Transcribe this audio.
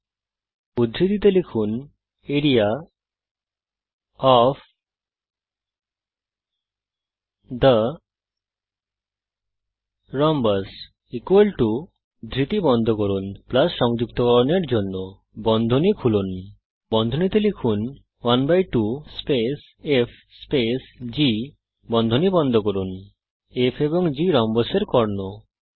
area of the rhombus 12 G F যুগল উদ্ধৃতি চিহ্ন খুলুন লিখুন আরিয়া ওএফ থে রোম্বাস যুগল উদ্ধৃতি চিহ্ন বন্ধ করুন সংযুক্তকরণের জন্য বন্ধনী খুলুন লিখুন 12 স্পেস f স্পেস g বন্ধনী বন্ধ করুন f এবং g হল রম্বসের কর্ণ